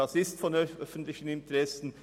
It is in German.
Diese Schulen sind von öffentlichem Interesse.